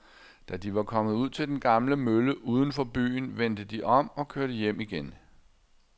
Da de var kommet ud til den gamle mølle uden for byen, vendte de om og kørte hjem igen.